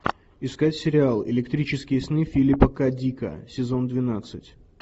искать сериал электрические сны филипа к дика сезон двенадцать